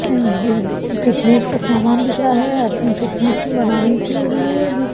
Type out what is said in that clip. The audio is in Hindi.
फिटनेस का समान दिख रहा है अपनी फिटनेस बनाने के लिए--